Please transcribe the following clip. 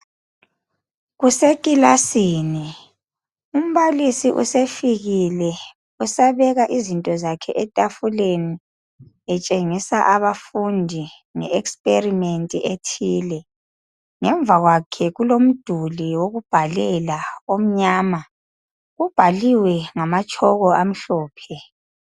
Kusekilasini umbalisi sefikile usabeka izinto zakhe etafuleni etshengisa abafundi nge experiment ethile ngemva kwakhe kulomduli wokubhalela omnyama ubhaliwe ngama chalk amhlophe.